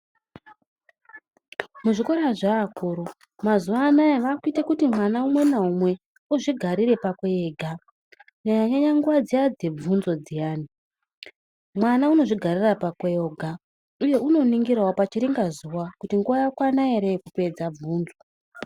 Muzvikora zveakuru vaakuite kuti mwana umwe naumwe azvigarire pakwe ega kunyanyanyanya nguwa dzebvunzo dziyani mwana unozvigarira pakwe oga uye unoningirawo pachiringazuwa kuti nguwa yakwana ere yekupedza bvunzo.